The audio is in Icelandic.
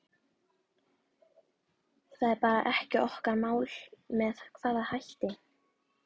Það er bara ekki okkar mál með hvaða hætti